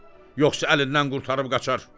Yoxsa əlindən qurtarıb qaçar.